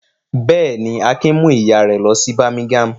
Bẹ́ẹ̀ ni, Akin mú ìyá rẹ̀ lọ sí Birmingham.